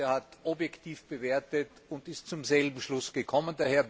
Er hat objektiv bewertet und ist zum selben Schluss gekommen.